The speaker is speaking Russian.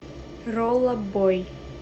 ролла бой